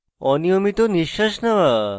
অনিয়মিত নিশ্বাস নেওয়া